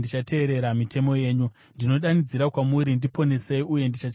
Ndinodanidzira kwamuri, ndiponesei uye ndichachengeta zvamakatema.